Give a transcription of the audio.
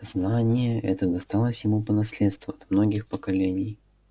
знание это досталось ему по наследству от многих поколений